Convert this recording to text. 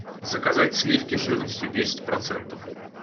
заказать сливки жирностью десять процентов